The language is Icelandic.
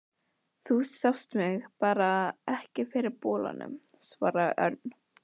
Þú sást mig bara ekki fyrir bolanum, svaraði Örn.